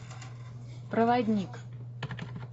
проводник